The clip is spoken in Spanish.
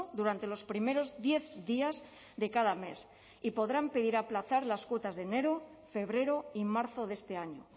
durante los primeros diez días de cada mes y podrán pedir aplazar las cuotas de enero febrero y marzo de este año